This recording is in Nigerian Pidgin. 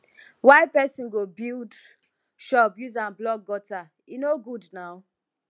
why pesin go build shop use am block gutter e no good naa